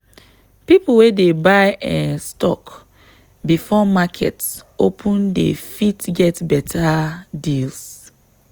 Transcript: people wey dey buy um stock before market open dey fit get better deals.